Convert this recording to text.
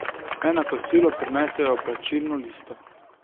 Naj na kosilo prinesejo plačilno listo.